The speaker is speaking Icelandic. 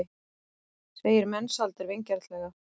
segir Mensalder vingjarnlega.